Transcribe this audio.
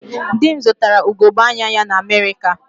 Di m zụtara ugogbe anya ya na Amerịka